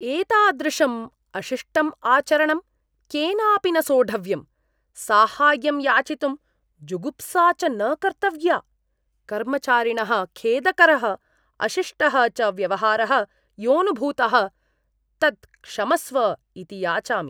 एतादृशं अशिष्टं आचरणं केनापि न सोढव्यं, साहाय्यं याचितुम् जुगुप्सा च न कर्तव्या। कर्मचारिणः खेदकरः अशिष्टः च व्यवहारः योऽनुभूतः तत् क्षमस्व इति याचामि।